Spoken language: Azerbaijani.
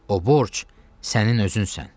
O borc sənin özünsən.